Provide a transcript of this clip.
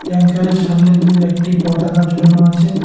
ট্যাঙ্কারের সামনের দিয় একটি পতাকা ঝোলানো আছে।